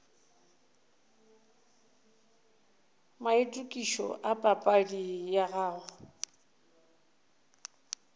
maitokišo a papadi ya gago